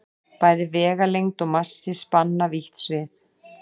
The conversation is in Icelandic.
bæði vegalengd og massi spanna vítt svið